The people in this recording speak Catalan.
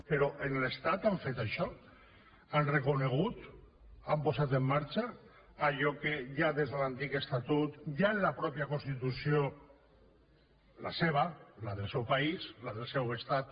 però a l’estat han fet això han reconegut han posat en marxa allò que ja des de l’antic estatut ja en la mateixa constitució la seva la del seu país la del seu estat